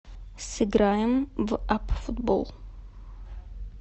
сыграем в апп футбол